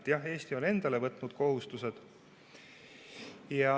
Jah, Eesti on endale võtnud kohustused.